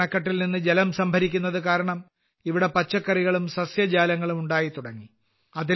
ബോരിഅണക്കെട്ടിൽ നിന്നും ജലം സംഭരിക്കുന്നതു കാരണം ഇവിടെ പച്ചക്കറികളും സസ്യജാലങ്ങളും ഉണ്ടായിത്തുടങ്ങി